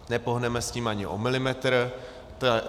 Nepohneme s tím ani o milimetr.